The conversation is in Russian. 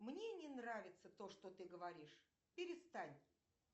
мне не нравится то что ты говоришь перестань